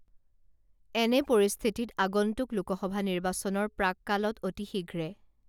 এনে পৰিস্থিতিত আগন্তুক লোকসভা নিৰ্বাচনৰ প্ৰাককালত অতিশীঘ্ৰে